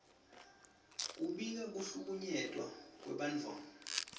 kubika kuhlukunyetwa kwebantfwana